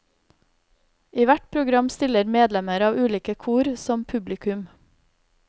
I hvert program stiller medlemmer av ulike kor som publikum.